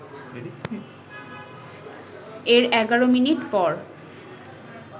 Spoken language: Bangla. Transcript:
এর ১১ মিনিট পর